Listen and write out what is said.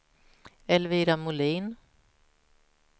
Elvira Molin